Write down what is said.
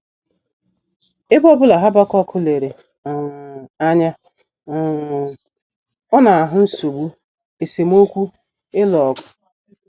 Ebe ọ bụla Habakuk lere um anya um, ọ na - ahụ nsogbu, esemokwu, ịlụ ọgụ.